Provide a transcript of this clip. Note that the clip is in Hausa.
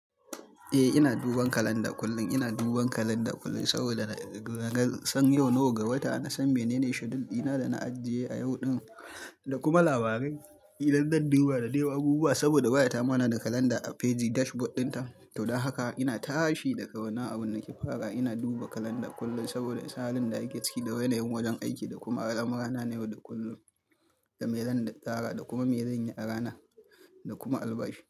Eh ina duban kalanda kullum. Ina duban kalanda kullum saboda naga nasan yau nawa ga wata. Na san menene schedule dina da na ajiye a yau din, da kuma labarai idan zan duba da dai abubuwa saboda wayatatama na da kalanda a fejin dashboard dinta. To don haka ina tashi daga na abun nake fara ina duba kalanda kullum saboda sanin da ake ciki da wane yin wajen aiki da kuma al'amurra na yau da kullum, da me zan tsara da kuma me zan yi a rana, da kuma albashi.